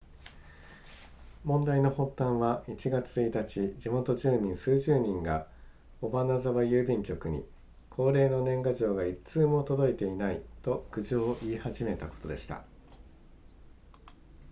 問題の発端は1月1日地元住民数十人が尾花沢郵便局に恒例の年賀状が1通も届いていないと苦情を言い始めたことでした